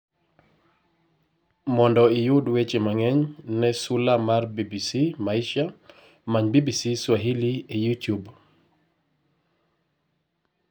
Mondo iyud weche mangeny, ne sula mar BBC Maisha, many BBC Swahili e Youtube.